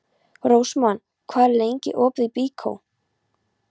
Rósmann, hvað er lengi opið í Byko?